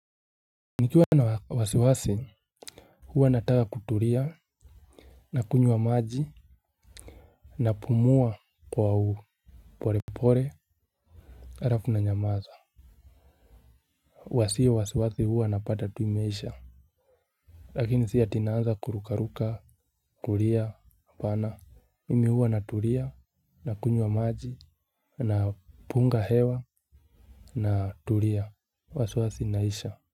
Nikiwa na wasiwasi huwa nataka kuturia. Nakunywa maji. Napumua kwa uporepore. Arafu nanyamaza. Wasio wasiwasi huwa wanapata tu imeisha. Lakini si ati naanza kurukaruka kuria hapana. Mimi huwa naturia. Nakunywa maji. Napunga hewa. Naturia wasiwasi inaisha.